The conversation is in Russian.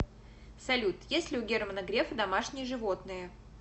салют есть ли у германа грефа домашние животные